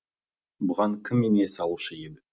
бұған кім ине салушы еді